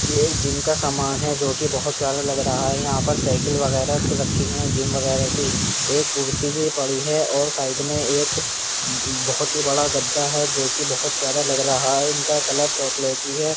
ये एक जिम का सामान है जो कि बोहोत प्यारा लग रहा है। यहाँ पर साइकिल वगैरा की रखी है जिम वगैरा की। एक कुर्सी भी पड़ी है और साइड में एक ब्ब् बोहोत ही बड़ा गद्दा है जोकि बोहोत प्यारा लग रहा है। इनका कलर चॉकलेटी है।